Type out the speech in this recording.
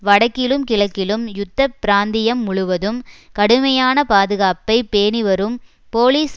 வடக்கிலும் கிழக்கிலும் யுத்த பிராந்தியம் முழுவதும் கடுமையான பாதுகாப்பை பேணி வரும் போலிஸ்